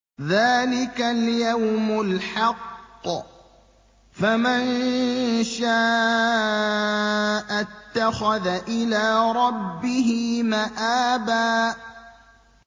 ذَٰلِكَ الْيَوْمُ الْحَقُّ ۖ فَمَن شَاءَ اتَّخَذَ إِلَىٰ رَبِّهِ مَآبًا